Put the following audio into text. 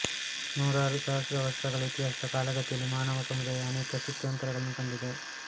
ನೂರಾರು ಸಹಸ್ರವರ್ಷಗಳ ಇತಿಹಾಸದ ಕಾಲಗತಿಯಲ್ಲಿ ಮಾನವ ಸಮುದಾಯ ಅನೇಕ ಸ್ಥಿತ್ಯಂತರಗಳನ್ನು ಕಂಡಿದೆ